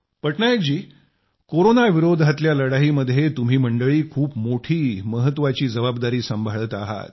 पटनायक जी कोरोनाविरोधातल्या लढाईमध्ये तुम्ही मंडळी खूप मोठी महत्वाची जबाबदारी सांभाळत आहात